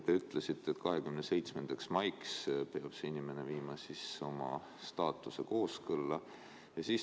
Te ütlesite, et 27. maiks peab see inimene viima oma staatuse seadusega kooskõlla.